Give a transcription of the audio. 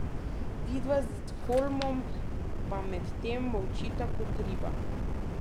Vidva s Holmom pa med tem molčita kot riba!